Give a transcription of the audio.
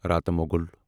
راتہٕ موگُل